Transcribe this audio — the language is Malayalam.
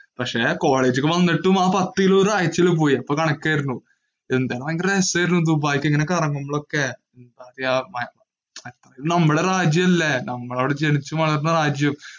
പക്ഷെ കോളേജിലെക് വന്നിട്ടും ആ പത്തു കിലോ ഒരു ആഴ്ച കൊണ്ട് പോയി. അപ്പോ കണക്കു ആയിരുന്നു. ഭയങ്കര രസം ആയിരുന്നു ദുബായിലൊക്കെ ഇങ്ങനെ കറങ്ങുമ്പോഴൊക്കെ. നമ്മുടെ രാജ്യം അല്ലെ. നമ്മൾ അവിടെ ജനിച്ചു വളര്ന്ന രാജ്യം.